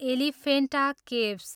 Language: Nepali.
एलिफेन्टा केभ्स